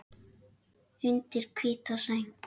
Undir hvíta sæng.